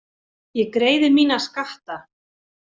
Ég greiði mína skatta.